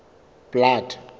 blood